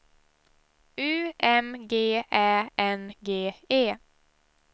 U M G Ä N G E